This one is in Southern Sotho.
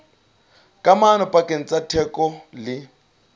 kamano pakeng tsa theko le